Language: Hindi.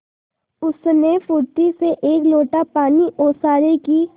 उसने फुर्ती से एक लोटा पानी ओसारे की